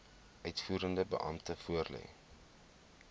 uitvoerende beampte voorlê